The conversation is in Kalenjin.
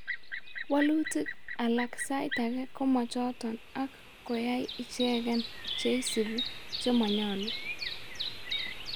Waluutik alak saaitage komachoton ak koyai icheken cheisibu chemanyolu